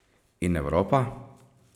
In Evropa?